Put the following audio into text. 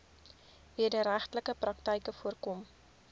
wederregtelike praktyke voorkom